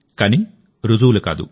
కానీ రుజువులు కాదు